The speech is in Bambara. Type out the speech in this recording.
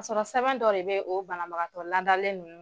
Ka sɔrɔ sɛbɛn dɔ de bɛ o banabagatɔ ladalen ninnu